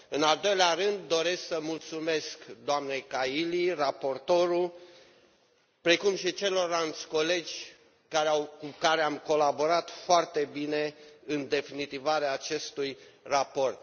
În al doilea rând, doresc să mulțumesc doamnei Kaili, raportoarea, precum și celorlalți colegi cu care am colaborat foarte bine în definitivarea acestui raport.